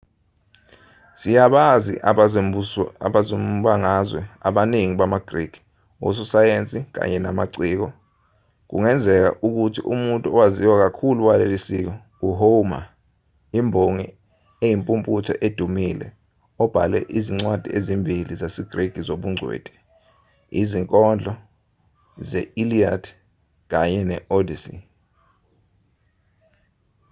siyabazi abezombangazwe abaningi bamagriki ososayensi kanye namaciko kungenzeka ukuthi umuntu owaziwa kakhulu waleli siko u-homer imbongi eyimpumputhe edumile obhale izincwadi ezimbili zesigriki zobungcweti izinkondo ze-iliad kanye ne-odyssey